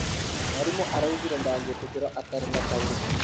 Mwarimũ augire ndangi tĩkĩro atarĩ na tauro icio